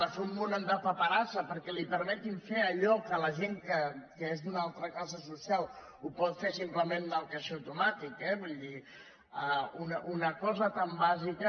a fer un munt de paperassa perquè li permetin fer allò que la gent que és d’una altra classe social ho pot fer simplement en el caixer automàtic eh vull dir una cosa tan bàsica